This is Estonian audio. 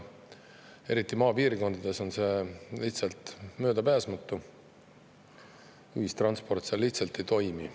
Eriti maapiirkondades on see lihtsalt möödapääsmatu, sest ühistransport seal lihtsalt ei toimi.